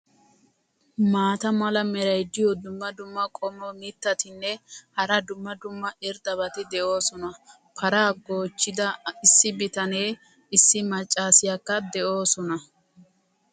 maata mala meray diyo dumma dumma qommo mitattinne hara dumma dumma irxxabati de'oosona. paraa goochchida issi bitaneenne issi macaassiyakka doosona.